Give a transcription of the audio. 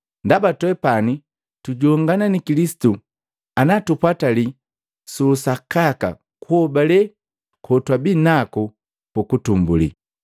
Ndaba twepani tujongana ni Kilisitu ana tupwatali suusakaka kuhobale kotwabinaku puutumbuli.